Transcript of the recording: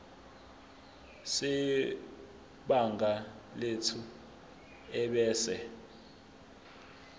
sebhangi lethu ebese